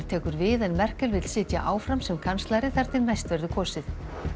tekur við en Merkel vill sitja áfram sem kanslari þar til næst verður kosið